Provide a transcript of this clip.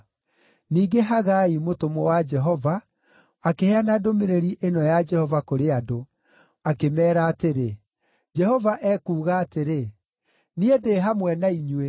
Ningĩ Hagai mũtũmwo wa Jehova akĩheana ndũmĩrĩri ĩno ya Jehova kũrĩ andũ, akĩmeera atĩrĩ: Jehova ekuuga atĩrĩ, “Niĩ ndĩ hamwe na inyuĩ.”